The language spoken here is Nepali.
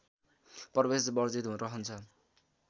प्रवेश वर्जित रहन्छ